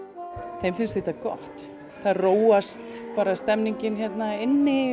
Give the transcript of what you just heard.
þeim finnst þetta gott það róast stemmningin hérna inni